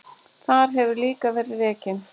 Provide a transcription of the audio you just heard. Þar hefur líka verið rekin